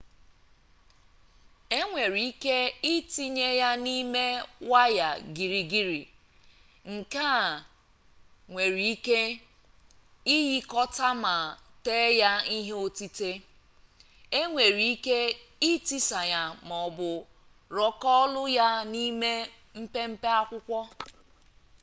enwere ike itinye ya n'ime waya girigiri nke e nwere ike ịghịkọta ma tee ya ihe otite enwere ike itisa ya ma ọ bụ rọkụlọ ya n'ime mpempe akwụkwọ